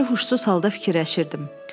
Yarı huşsuz halda fikirləşirdim.